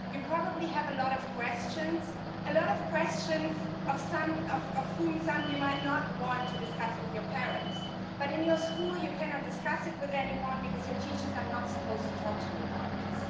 You probably have a lot of questions, some of which you might not want to discuss with your parents, but in your school you cannot discuss it with anyone because your teachers are not supposed to talk to you about this.